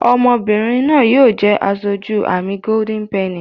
Ọmọbìrìn náa yóò jé aṣojú amí Golden penny.